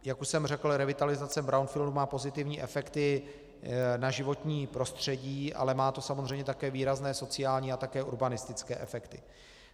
Jak už jsem řekl, revitalizace brownfieldů má pozitivní efekty na životní prostředí, ale má to samozřejmě také výrazné sociální a také urbanistické efekty.